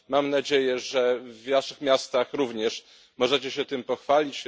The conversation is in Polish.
Mam nadzieję, że w waszych miastach również możecie się tym pochwalić.